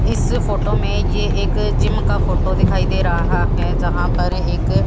इस फोटो में ये एक जिम का फोटो दिखाई दे रहा है जहां पर एक--